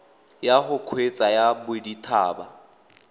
ya go kgweetsa ya bodithaba